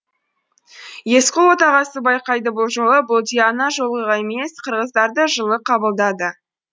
есқұл отағасы байқайды бұл жолы бұлди ана жолғыдай емес қырғыздарды жылы қабылдады